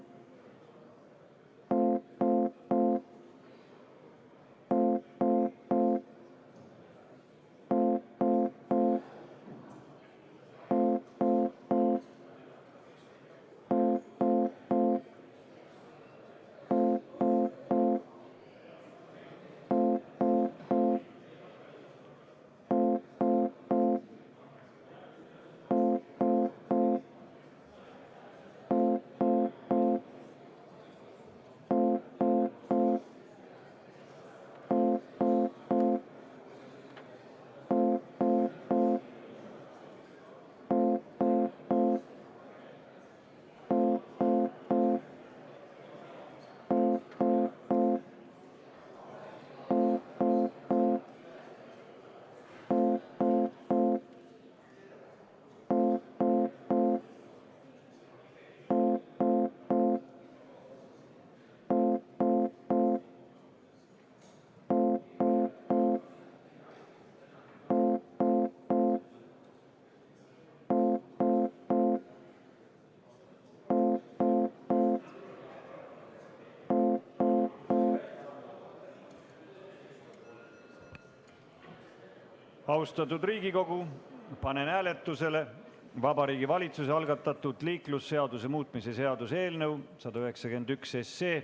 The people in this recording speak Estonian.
Austatud Riigikogu, panen hääletusele Vabariigi Valitsuse algatatud liiklusseaduse muutmise seaduse eelnõu 191.